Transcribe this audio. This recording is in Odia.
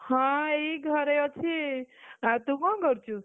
ହଁ, ଏଇ ଘରେ ଅଛି, ଆଉ ତୁ କଣ କରୁଛୁ?